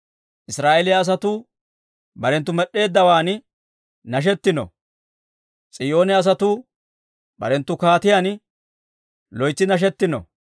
Israa'eeliyaa asatuu barentta med'd'eeddawaan nashetino. S'iyoone asatuu barenttu kaatiyaan loytsi nashetino.